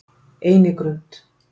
Einigrund